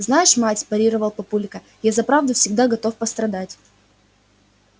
знаешь мать парировал папулька я за правду всегда готов пострадать